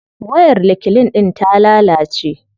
Wayar reclean din ta lalace.